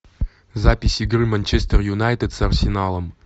запись игры манчестер юнайтед с арсеналом